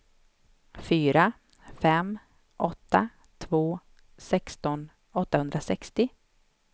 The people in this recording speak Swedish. fyra fem åtta två sexton åttahundrasextio